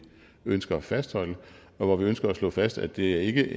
ønsker at fastholde og vi ønsker at slå fast at det ikke